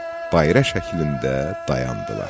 Bayraq şəklində dayandılar.